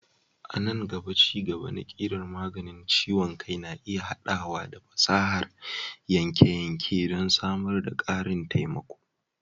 A nan gaba, ci-gaba na ƙirar maganin ciwon kai na iya haɗawa da fasahar yanke-yanke don samar da ƙarin taimako.